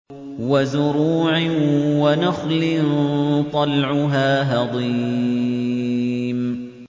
وَزُرُوعٍ وَنَخْلٍ طَلْعُهَا هَضِيمٌ